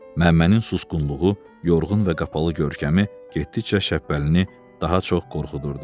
Məmmənin susqunluğu, yorğun və qapalı görkəmi getdikcə Şəhbəlini daha çox qorxudurdu.